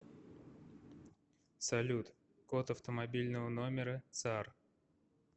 салют код автомобильного номера цар